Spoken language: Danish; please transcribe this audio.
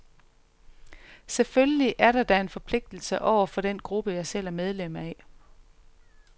Selvfølgelig er der da en forpligtelse over for den gruppe, jeg selv er medlem af.